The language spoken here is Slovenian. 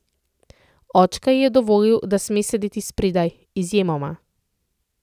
Očka ji je dovolil, da sme sedeti spredaj, izjemoma.